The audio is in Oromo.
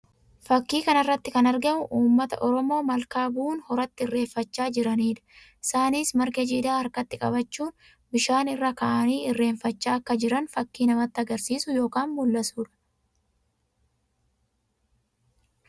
Fakkii kana irratti kan argamu uummata Oromoo malkaa bu'uun horatti irreeffachaa jiranii dha. Isaanis margaa jiidhaa harkatti qabachuun bishaan irra kaa'anii irreeffachaa akka jiran fakkii namatti agarsiisu yookiin mul'isuu dha.